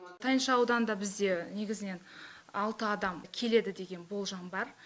тайынша ауданында бізде негізінен алты адам келеді деген болжам бар